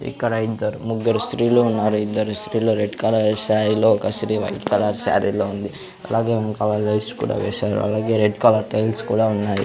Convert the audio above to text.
ఇక్కడ ఇద్దరు ముగ్గరు స్త్రీలు ఉన్నారు ఇద్దరు స్త్రీలు రెడ్ కలర్ శారీ లో ఒక స్త్రీ వైట్ కలర్ శారీ లో ఉంది. అలాగే వెనకాల లైట్స్ కూడా వేశారు అలాగే రెడ్ కలర్ టైల్స్ కూడా ఉన్నాయి.